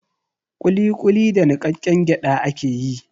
Ƙuliƙuli da niƙaƙƙen gyaɗa ake yi.